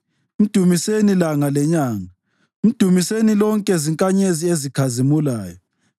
Mdumiseni, langa lenyanga, mdumiseni lonke zinkanyezi ezikhazimulayo.